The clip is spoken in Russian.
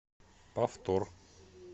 повтор